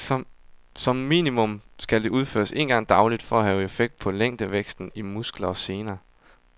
Som minimum skal det udføres en gang dagligt for at have effekt på længdevæksten i muskler og sener.